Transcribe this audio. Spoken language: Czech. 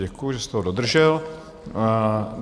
Děkuji, že jste ho dodržel.